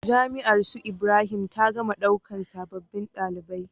Jami'ar su ibrahim ta gama ɗaukan sabobin ɗalibai